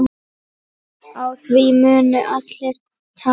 Á því munu allir tapa.